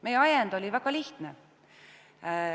Meie ajend oli väga lihtne.